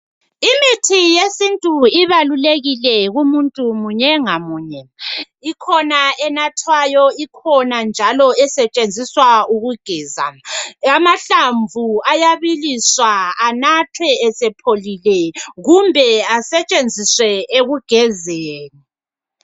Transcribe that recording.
Imithi yesintu ibalulekile kumuntu munye ngamunye. Ikhona enathwayo, ikhona njalo esetshenziswa ukugeza . Amahlamvu ayabiliswa, anathwe esepholile kumbe asetshenziswe ekugezeni.